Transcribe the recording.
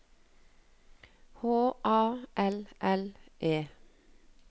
H A L L E